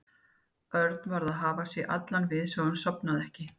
Örn varð að hafa sig allan við svo að hann sofnaði ekki.